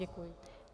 Děkuji.